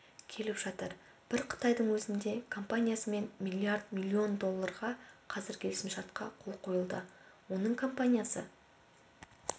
келіп жатыр бір қытайдың өзінде компаниясымен миллиард миллион долларға қазір келісімшартқа қол қойылды оның компаниясы